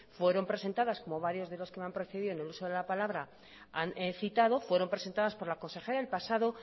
fueron presentadas como varios de los que van precedidos en el uso de la palabra han citado fueron presentadas por la consejera el pasado